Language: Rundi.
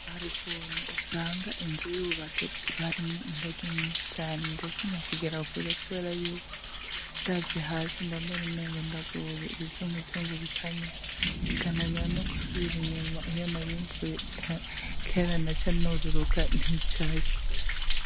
Hari ukuntu usanga inzu y'ububazo bwarimwo ingazi nyinshi cane ndasinya kugera kure, kubera yuko ndavye hasi mbambareumengo ndagoye ibizungu zungu bikanyica bikananira no gusubira inyuma iyo narimvuye kererana ca noruruka nticaye.